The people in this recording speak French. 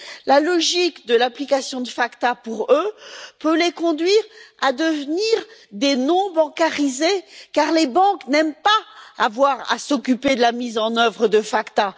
La logique de l'application de la loi FATCA peut les conduire à devenir des non bancarisés, car les banques n'aiment pas avoir à s'occuper de la mise en œuvre de la loi FACTA.